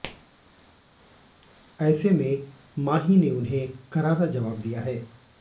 ऐसे में माही ने उन्हें करारा जवाब दिया है